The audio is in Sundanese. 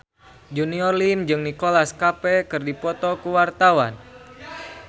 Junior Liem jeung Nicholas Cafe keur dipoto ku wartawan